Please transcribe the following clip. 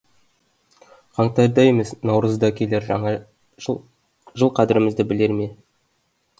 қаңтарда емес наурызда келер жаңа жыл жыл қадірімізді білер ме